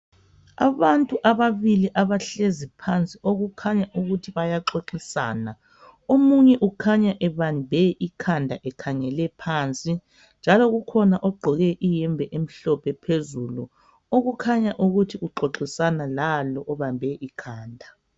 Abantu ababili abahlezi phansi okukhanya ukuthi bayaxoxisana omunye ukhanya ebambe ikhanda ekhangele phansi njalo kukhona ogqoke iyembe emhlophe phezulu okukhanya ukuthi uxoxisana lalo obambe ikhanda.